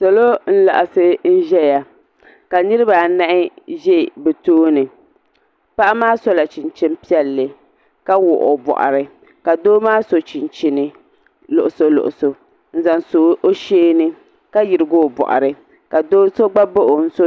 Salo n-laɣisi n-ʒeya ka niriba anahi ʒe bɛ tooni paɣa maa sola chinchini piɛlli ka wuɣi o bɔɣiri ka doo maa so chinchini luɣuso luɣuso n-zaŋ so o shee ni ka yirigi o bɔɣiri ka do so gba baɣi o n-so